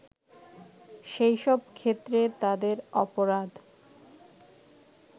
সেই সব ক্ষেত্রে তাদের অপরাধ